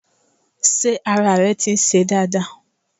Sé ara rẹ ti ń se dáadáa